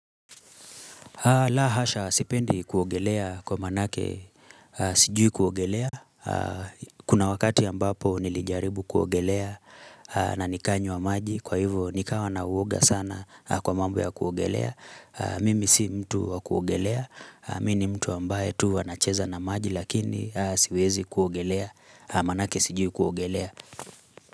La hasha, sipendi kuogelea kwa maanake, sijui kuogelea. Kuna wakati ya ambapo nilijaribu kuogelea na nikanywa maji, kwa hivyo nikawa na uoga sana kwa mambo ya kuogelea. Mimi si mtu wa kuogelea, mini mtu ambaye tu anacheza na maji, lakini siwezi kuogelea, maanake sijui kuogelea.